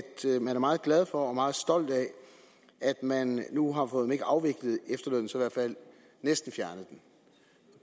man er meget glad for og meget stolt af at man nu har fået om ikke afviklet efterlønnen så i hvert fald næsten fjernet den